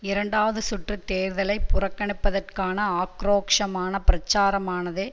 இரண்டாவது சுற்று தேர்தலை புறக்கணிப்பதற்கான ஆக்ரோஷமான பிரச்சாரமானது